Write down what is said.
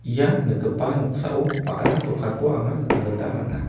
ia nikgipa noksao ba·ra dokanko anga nikna gita man·a.